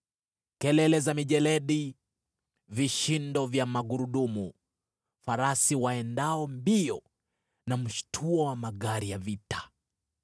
Kelele za mijeledi, vishindo vya magurudumu, farasi waendao mbio na mshtuo wa magari ya vita!